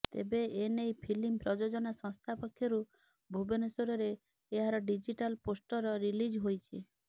ତେବେ ଏନେଇ ଫିଲ୍ମ ପ୍ରଯୋଜନା ସଂସ୍ଥା ପକ୍ଷରୁ ଭୁବନେଶ୍ୱରରେ ଏହାର ଡିଜିଟାଲ ପୋଷ୍ଟର ରିଲିଜ୍ ହୋଇଛି